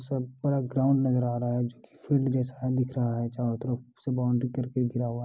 सब पूरा ग्राउंड नज़र आ रहा है जो की फील्ड जैसा दिख रहा है चारो तरफ से बाउंड्री करके घेरा हुआ है।